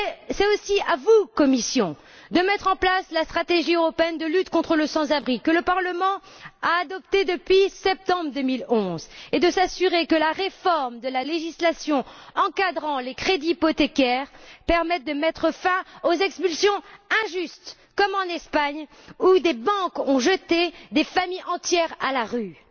C'est aussi à la Commission de mettre en place la stratégie européenne de lutte contre le sans abrisme que le Parlement a adoptée depuis septembre 2011, et de s'assurer que la réforme de la législation encadrant les crédits hypothécaires permette de mettre fin aux expulsions injustes, comme en Espagne où des banques ont jeté des familles entières à la rue.